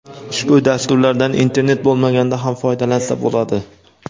Ushbu dasturlardan internet bo‘lmaganda ham foydalansa bo‘ladi.